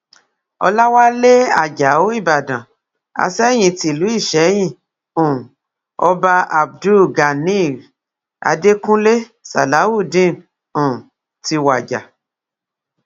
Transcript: ọláwálé àjàó ìbàdàn asẹ́yìn tìlú ìsẹyìn um ọba abdul ganiy adẹkùnlé salawudeen um ti wàjà